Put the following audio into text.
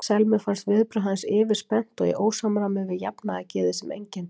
Selmu fannst viðbrögð hans yfirspennt og í ósamræmi við jafnaðargeðið sem einkenndi hann.